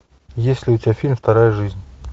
есть ли у тебя фильм вторая жизнь